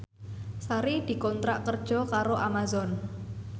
Sari dikontrak kerja karo Amazon